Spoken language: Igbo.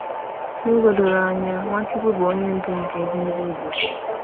N’ụzọ doro anya, Nwachukwu bụ Onye Ndu nke ezi ndị Igbo.